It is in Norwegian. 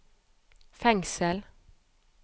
fengsel